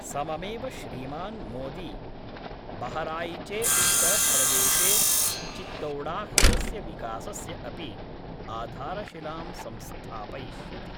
सममेव श्रीमान् मोदी बहराइचे उत्तरप्रदेशे चितौडाहृदस्य विकासस्य अपि आधारशिलां संस्थापयिष्यति।